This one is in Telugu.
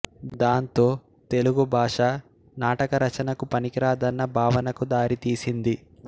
దాంతో తెలుగు భాష నాటక రచనకు పనికిరాదన్న భావనకు దారితీసింది